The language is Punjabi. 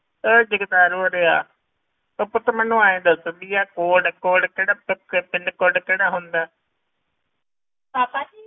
ਉਹ ਜਗਤਾਰ ਉਰੇ ਆ, ਤੂੰ ਪੁੱਤ ਮੈਨੂੰ ਇਉਂ ਦੱਸ ਵੀ ਆਹ code code ਕਿਹੜਾ ਪਿ~ PIN code ਕਿਹੜਾ ਹੁੰਦਾ ਪਾਪਾ ਜੀ